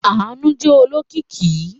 Àánú jẹ́ olókìkí.